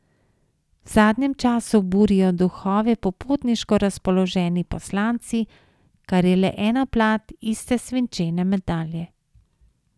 V zadnjem času burijo duhove popotniško razpoloženi poslanci, kar je le ena plat iste svinčene medalje.